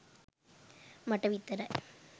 මට විතරයි